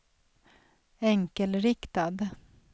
enkelriktad